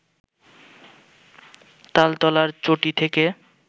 তালতলার চটি থেকে